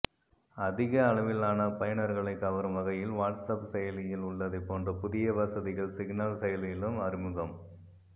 அதிக அளவிலான பயனர்களை கவரும் வகையில் வாட்ஸ்ஆப் செயலியில் உள்ளதைப் போன்ற புதிய வசதிகள் சிக்னல் செயலியிலும் அறிமுகம்